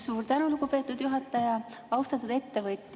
Suur tänu, lugupeetud juhataja!